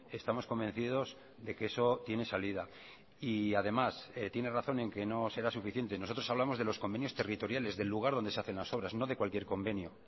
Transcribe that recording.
estamos convencidos de que eso tiene salida y además tiene razón en que no será suficiente nosotros hablamos de los convenios territoriales del lugar donde se hacen las obras no de cualquier convenio